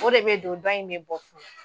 O de bɛ don, dɔ in bɛ bɔ.